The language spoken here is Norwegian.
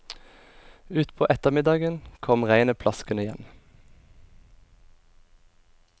Utpå ettermiddagen kommer regnet plaskende igjen.